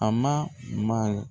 A ma ma .